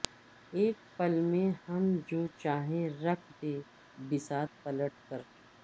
اک پل میں ہم جو چاہیں رکھ دیں بساط الٹ کر